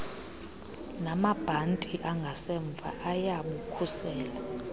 namabhanti angasemva ayabukhusela